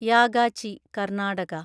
Yagachi (Karnataka)